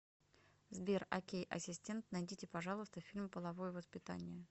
сбер окей асистент найдите пожалуйста фильм половое воспитание